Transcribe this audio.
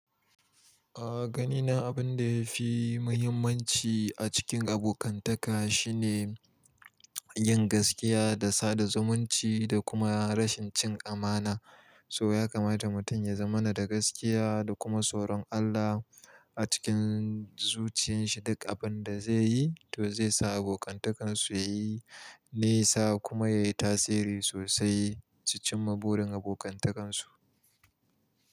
A ganina abin da yafi muhimmanci a cikin abokantaka shine yin gaskiya da sada zumunci da kuma rashin cin amana. So yakamata mutum ya zama na da gaskiya da kuma tsoron Allah a cikin zuciyan shi duk abin da zayi to zai sa abokantakan so yayi nisa kuma yayi tasiri sosai su cima burin abokantakansu.